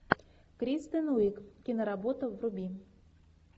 кристен уиг киноработа вруби